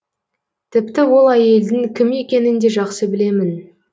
тіпті ол әйелдің кім екенін де жақсы білемін